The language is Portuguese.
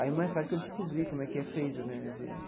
Aí mais tarde que eu descobri como é que é feito né.